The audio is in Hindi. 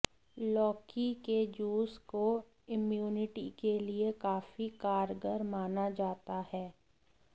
लौकी के जूस को इम्यूनिटी के लिए काफी कारगर माना जाता है